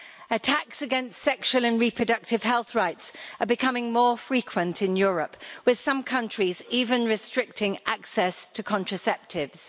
Attacks against sexual and reproductive health rights are becoming more frequent in Europe, with some countries even restricting access to contraceptives.